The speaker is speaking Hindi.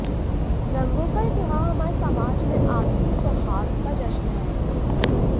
रंगों का यह त्यौहार हमारे समाज में आपसी सौहार्द का जश्न है